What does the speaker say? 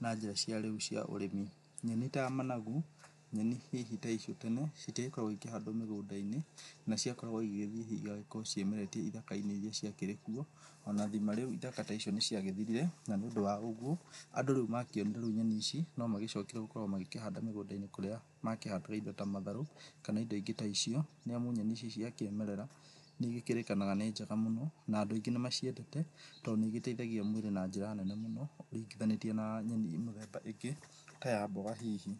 na njĩra cia rĩu cia ũrĩmi. Nyenĩ ta managu, nyenĩ hihi ta icio tene citiagĩkoragwo cĩgĩkĩhandwo mĩgũnda-inĩ naciakoragwo hihi ĩgakorwo ciĩmeretie ĩthaka-inĩ ĩria ciakĩrĩ kuo, ona thima rĩu ithaka ta icio nĩ ciagĩthirire na nĩ ũndũ wa ũguo andũ rĩu makĩonire rĩu nyenĩ ici nomagĩcokire gũkorwo magĩkĩhanda mĩgũnda-inĩ kũrĩa makĩhandaga ĩndo ta matharũ kana ĩndo ingĩ ta icio. Nĩamu nyenĩ ici cia kĩmerera nĩ ĩgĩkĩrĩkanaga nĩ njega mũno na andũ aingĩ nĩ maciendete tondũ nĩ ĩgĩteithagia mwĩrĩ na njĩra nene mũno ũringithanĩtie na nyenĩ mĩthemba ĩngĩ ta ya mboga hihi.